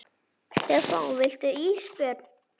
Stefán: Viltu ís Björn?